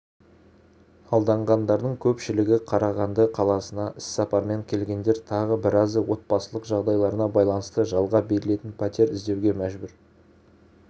алданғандардың көпшілігі қарағанды қаласына іссапармен келгендер тағы біразы отбасылық жағдайларына байланысты жалға берілетін пәтер іздеуге мәжбүр